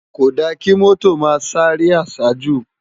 Kódá ki mòtó má sáré àsájú